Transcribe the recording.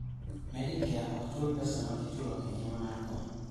Medicare ok chuli pesa ma ichulo e ngima mar kony.